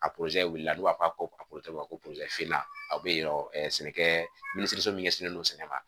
A wulila n'u b'a fɔ ko ko a bɛ yen sɛnɛkɛ minisiriso min ɲɛsinnen don sɛnɛ ma